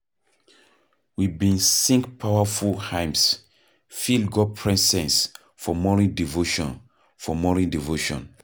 We bin sing powerful hymns, feel God presence for morning devotion, for morning devotion